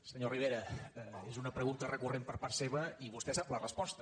senyor rivera és una pregunta recurrent per part seva i vostè sap la resposta